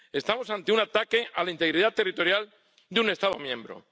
Estamos ante un ataque a la integridad territorial de un Estado miembro.